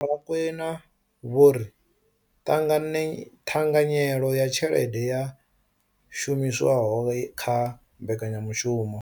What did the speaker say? Vho Rakwena vho ri ṱhanganyelo ya tshelede ya shumiswaho kha mbekanya mushumo